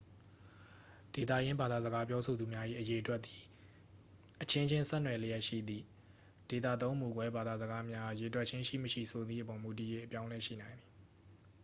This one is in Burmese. ဒေသရင်းဘာသာစကားပြောဆိုသူများ၏ အရေအတွက်သည် အချင်းချင်း ဆက်နွယ်လျက်ရှိသည့် ဒေသသုံးမူကွဲဘာသာစကားများအား ရေတွက်ခြင်းရှိမရှိဆိုသည့်အပေါ် မူတည်၍ အပြောင်းအလဲရှိနိုင်သည်